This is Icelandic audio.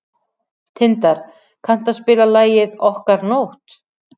Tindar, kanntu að spila lagið „Okkar nótt“?